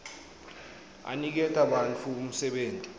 aniketa bantfu umsebenti